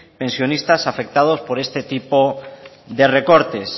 pensionistas afectados por este tipo de recortes